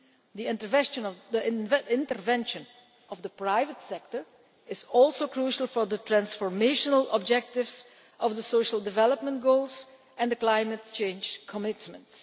The intervention of the private sector is also crucial for the transformational objectives of the Social Development Goals and the climate change commitments.